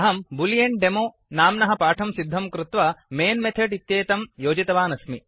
अहं बूलेऽण्डेमो boolean demo नाम्नः पाठं सिद्धं कृत्वा मैन् मेथड् इत्येतं योजितवान् अस्मि